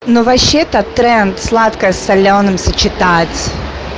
но вообще-то тренд сладкое с солёным сочетать